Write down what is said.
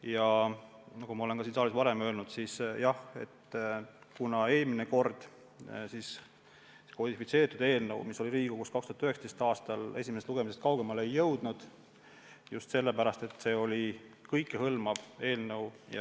Ja nagu ma olen siin saalis ka varem öelnud: eelmine kord nn kodifitseeritud eelnõu, mis oli Riigikogus 2019. aastal menetluses, esimesest lugemisest kaugemale ei jõudnud just sellepärast, et see oli kõikehõlmav eelnõu.